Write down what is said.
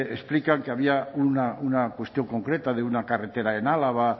explican que había una cuestión concreta de una carretera en álava